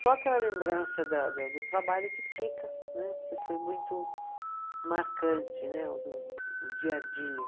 Só aquela lembrança da da do trabalho que fica, né, porque foi muito marcante né, o do, o dia a dia.